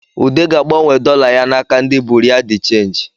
Ude ga-agbanwe dọla ya n’aka ndi bụrịa dị chenjị